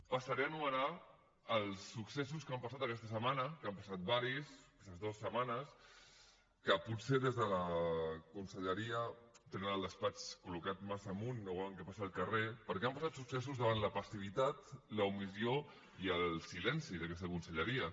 passaré a enumerar els successos que han passat aquesta setmana que n’han passat diversos aquestes dues setmanes i potser des de la conselleria tenen el despatx col·locat massa amunt i no veuen el que passa al carrer perquè han passat successos davant la passivitat l’omissió i el silenci d’aquesta conselleria